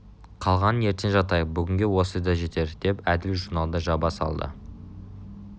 қалғанын ертең жаттайық бүгінге осы да жетер деп әбіл журналды жаба салды